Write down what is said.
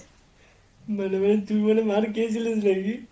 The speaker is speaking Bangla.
মানে মানে তুই মানে মার খেয়েছিলিস নাকি?